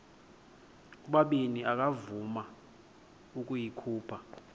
ubabini akavuma ukuyikhupha